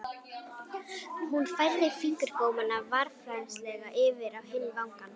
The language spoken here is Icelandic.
Hún færði fingurgómana varfærnislega yfir á hinn vangann.